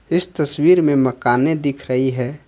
इस तस्वीर में मकाने दिख रही है।